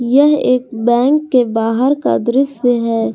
यह एक बैंक के बाहर का दृश्य है।